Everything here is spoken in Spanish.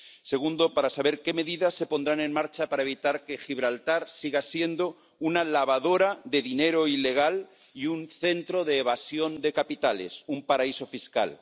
segundo, para saber qué medidas se pondrán en marcha para evitar que Gibraltar siga siendo una lavadora de dinero ilegal y un centro de evasión de capitales —un paraíso fiscal—